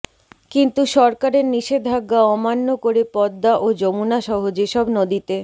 কিন্তু সরকারের নিষেধাজ্ঞা অমান্য করে পদ্মা ও যমুনাসহ যেসব নদীতে